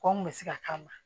Kɔn kun bɛ se ka k'a kama